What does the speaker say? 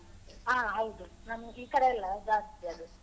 ಹ ಹೌದು ನಮ್ಗೆ ಈ ಕಡೆ ಎಲ್ಲ ಜಾಸ್ತಿ ಅದು.